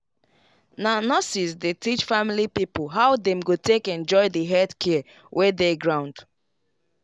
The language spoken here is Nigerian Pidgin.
na nurses dey teach family pipo how dem go take enjoy the health care wey dey ground.